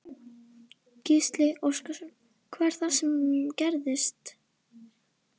Gísli Óskarsson: Hvað er það sem gerðist?